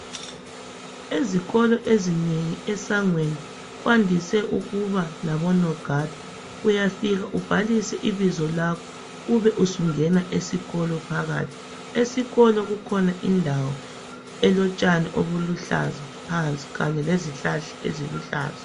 Ezikolo ezinengi esangweni kwandise ukuba labonoganda. Uyafika ubhalise ibizo lakho ube usungena esikolo phakathi. Esikolo kukhona indawo elotshane obuluhlaza phansi, kanye lezihlahla eziluhlaza.